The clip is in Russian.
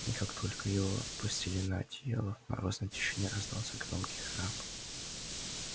и как только его опустили на одеяло в морозной тишине раздался громкий храп